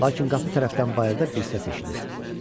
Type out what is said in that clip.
Lakin qapı tərəfdən bayırda bir səs eşidir.